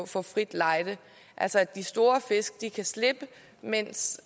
få frit lejde altså at de store fisk kan slippe mens